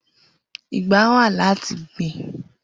Igbà wá làtí gbin